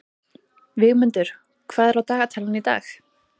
Vígmundur, hvað er á dagatalinu í dag?